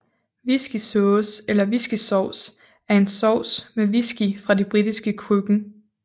Whiskysauce eller whiskysovs er en sovs med whisky fra det britiske køkken